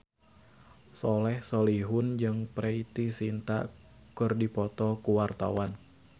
Soleh Solihun jeung Preity Zinta keur dipoto ku wartawan